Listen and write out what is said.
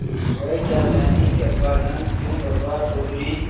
वह क्या जानें कि अब्बाजान क्यों बदहवास चौधरी